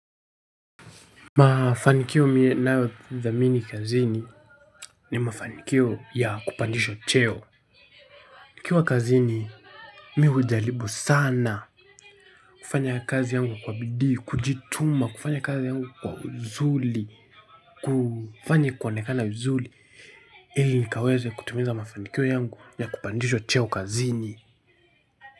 Mafanikio ninayo dhamini kazini. Ni mafanikio ya kupandishwa cheo. Nikiwa kazini mimi hujaribu sana. Kufanya kazi yangu kwa bidii, kujituma kufanya kazi yangu kwa uzuri. Kufanya kuonekana vizuri ili nikaweze kutimiza mafanikio yangu ya kupandishwa cheo kazini.